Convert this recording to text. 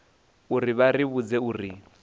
uri vha ri vhudze uri